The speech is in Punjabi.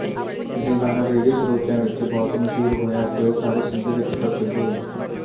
ਇਹ ਗਾਣਾ ਰੇਡੀਓ ਸਰੋਤਿਆਂ ਵਿੱਚ ਬਹੁਤ ਮਸ਼ਹੂਰ ਹੋਇਆ ਅਤੇ ਉਹ ਸਾਰੇ ਸਿੰਧ ਵਿੱਚ ਪ੍ਰਸਿੱਧ ਹੋਈ